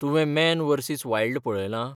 तुवें man versus wild पळयलां?